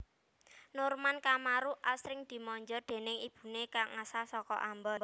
Norman Kamaru asring dimanja déning ibune kang asal saka Ambon